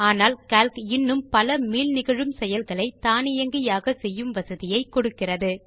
ஆனால் கால்க் இன்னும் பல மீள் நிகழும் செயல்களை தானியங்கியாக செய்யும் வசதியை கொடுக்கிறது